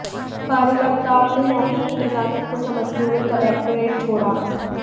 कार्यकर्ताओं ने मौके की नजाकत को समझते हुए कलेक्टोरेट छोड़ा